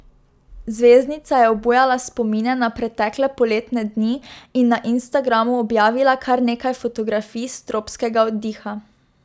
Zvezdnica je obujala spomine na pretekle poletne dni in na Instagramu objavila kar nekaj fotografij s tropskega oddiha.